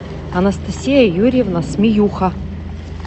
анастасия юрьевна смеюха